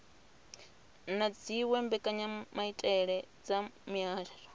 na dziwe mbekanyamaitele dza mihasho